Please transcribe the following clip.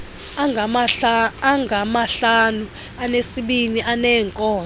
angamahlanu anesibini aneenkonzo